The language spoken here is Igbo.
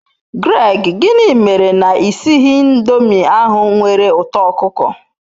Greg, gini mere na I sighi indomi ahu nwere uto okuko